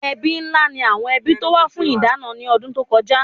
Ẹbí ńlá ni àwọn ẹbí tó wá fún ìdáná ní ọdún tó kọjá